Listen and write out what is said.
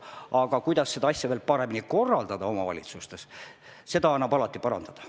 Aga kuidas seda kõike omavalitsustes korraldada – seda annab alati parandada.